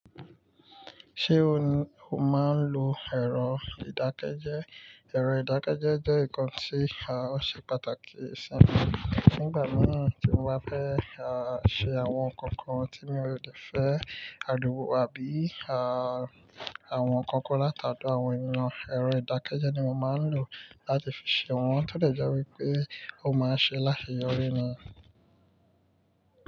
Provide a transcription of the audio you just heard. Ṣé o, o máa ń lo ẹ̀rọ ìdákẹ́jẹ́? Ẹ̀rọ ìdákẹ́jẹ́ jẹ́ nǹkan tí a, ó ṣe pàtàkì sí mi. Nígbà mìíràn tí mo bá fẹ́ a, ṣe àwọn ǹkan kan tí mi ò lè fẹ́ alòpọ̀ àbí a, àwọn ǹkan kan látado àwọn ènìyàn, ẹ̀rọ ìdákẹ́jẹ́ ni mo máa ń lò láti fi ṣe wọ́n. Tóbí ẹ jẹ́ wípé ó máa ń ṣe láti yọrí ni.